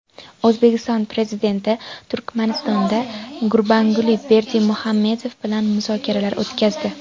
O‘zbekiston Prezidenti Turkmanistonda Gurbanguli Berdimuhamedov bilan muzokaralar o‘tkazdi.